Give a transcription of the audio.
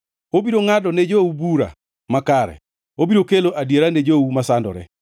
Obiro ngʼado ne jou bura makare, obiro kelo adiera ne jou masandore.